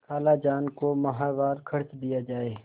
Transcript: खालाजान को माहवार खर्च दिया जाय